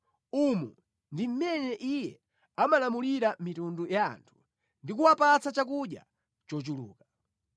Umu ndi mmene Iye amalamulira mitundu ya anthu ndi kuwapatsa chakudya chochuluka.